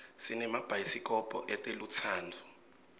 sinemabayisi kobho etelutsandvo